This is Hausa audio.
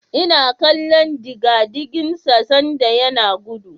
Ina kallon digadigin sa sanda yana gudu.